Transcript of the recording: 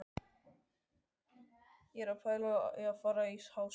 Ég er að pæla í að fara í Háskólann.